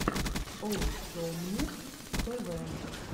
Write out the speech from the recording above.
оусомнесс тэ вэ